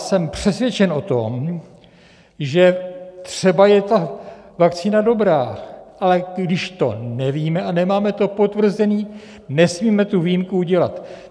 Jsem přesvědčen o tom, že třeba je ta vakcína dobrá, ale když to nevíme a nemáme to potvrzené, nesmíme tu výjimku udělat.